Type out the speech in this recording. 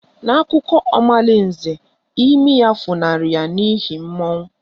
N'akụkọ omalinze, imi ya funahụrụ ya n'ihi mmụọ